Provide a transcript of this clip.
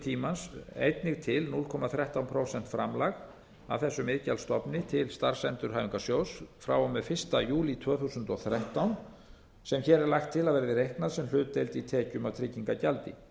tímans einnig til núll komma þrettán prósent framlagi af þessum iðgjalds stofni til starfsendurhæfingarsjóðs frá og með fyrsta júlí tvö þúsund og þrettán sem hér er lagt til að verði reiknað sem hlutdeild í tekjum af tryggingagjaldi